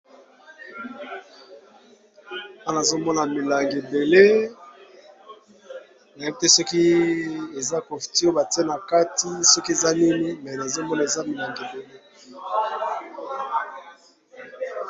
wana azomona milange ebele nayite soki eza cofturbatie na kati soki eza nini me nazomona eza milange ebele